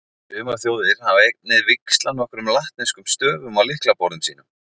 Sumar þjóðir hafa einnig víxlað nokkrum latneskum stöfum á lyklaborðum sínum.